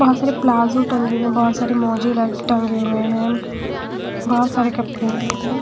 बहुत सारे प्लाजो टंगे हुए हैं बहुत सारे मोजी टंगे हुए हैं बहुत सारे कपड़े हैं यहां पे--